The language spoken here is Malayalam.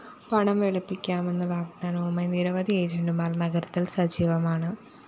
പണം വെളുപ്പിക്കാമെന്ന വാഗ്ദാനവുമായി നിരവധി ഏജന്റുമാര്‍ നഗരത്തില്‍ സജീവമാണ്